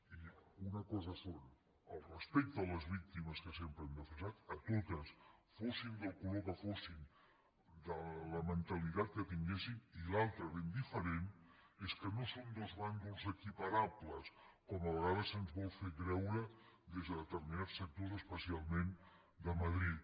i una cosa és el respecte a les víctimes que sempre hem defensat a totes fossin del color que fossin de la mentalitat que tinguessin i l’altra ben diferent és que no són dos bàndols equiparables com a vegades se’ns vol fer creure des de determinats sectors especialment de madrid